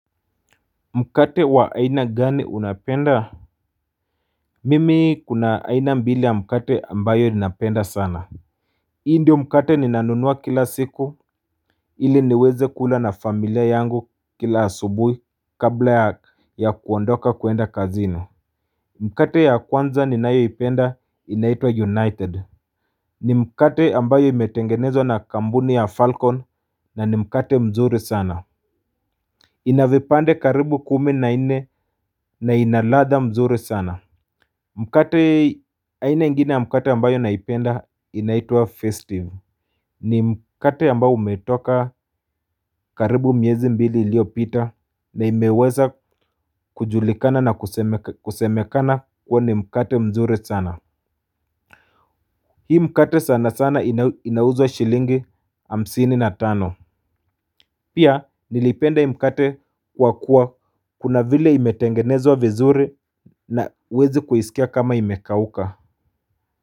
Mkate wa aina gani unapenda. Mimi kuna aina mbili ya mkate ambayo ninapenda sana. Hii ndio mkate ninanunua kila siku ili niweze kula na familia yangu kila asubuhi kabla ya kuondoka kwenda kazini. Mkate ya kwanza ninayoipenda inaitwa united. Ni mkate ambayo imetengenezwa na kampuni ya falcon na ni mkate mzuri sana. Ina vipande karibu kumi na nne na ina ladha mzuri sana. Mkate aina ingine ya mkate ambayo naipenda inaitwa festive. Ni mkate ambao umetoka karibu miezi mbili iliyopita na imeweza kujulikana na kusemekana kuwa ni mkate mzuri sana. Hii mkate sana sana inauzwa shilingi hamsini na tano. Pia, nilipenda hii mkate kwa kuwa kuna vile imetengenezwa vizuri na huwezi kuisikia kama imekauka.